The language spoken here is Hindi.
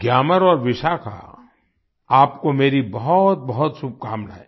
ग्यामर और विशाखा आपको मेरी बहुतबहुत शुभकामनाएं